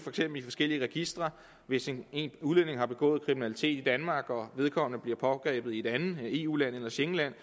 i forskellige registre hvis en udlænding har begået kriminalitet i danmark og vedkommende bliver pågrebet i et andet eu land eller schengenland